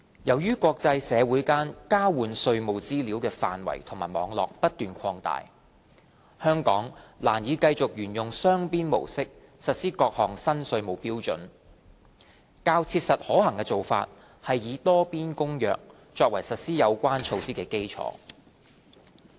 由於國際社會間交換稅務資料的範圍及網絡不斷擴大，香港難以繼續沿用雙邊模式實施各項新稅務標準，較切實可行的做法是以《多邊公約》作為實施有關措施的基礎。